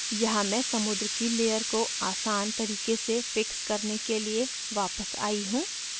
यहाँ मैं समुद्र की layer को आसान तरीके से fix करने के लिए वापस i हूँ